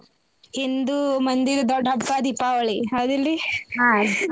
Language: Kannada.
ಹಿಂದೂ ಮಂದಿದ್ ದೊಡ್ ಹಬ್ಬಾ ದೀಪಾವಳಿ ಹೌದಿಲ್ರಿ ?